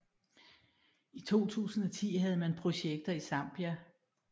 I 2010 havde man projekter i Zambia